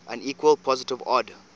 unequal positive odd